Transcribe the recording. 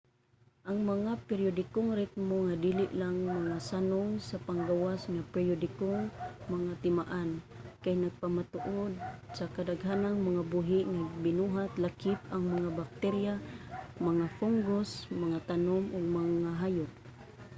ang mga periodikong ritmo nga dili lang mga sanong sa panggawas nga periodikong mga timaan kay napamatud-an sa kadaghanang mga buhi nga binuhat lakip ang mga bakterya mga fungus mga tanom ug mgahayop